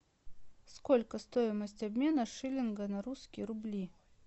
сколько стоимость обмена шиллинга на русские рубли